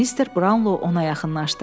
Mister Brownlo ona yaxınlaşdı.